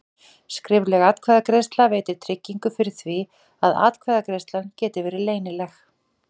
Skrifleg atkvæðagreiðsla veitir tryggingu fyrir því að atkvæðagreiðslan geti verið leynileg.